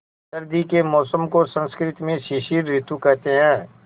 सर्दी के मौसम को संस्कृत में शिशिर ॠतु कहते हैं